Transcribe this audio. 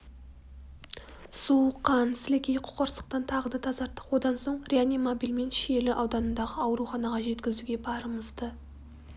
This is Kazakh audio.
су қан сілекей қоқырсықтан тағы да тазарттық одан соң реанимобильмен шиелі ауданындағы ауруханаға жеткізуге барымызды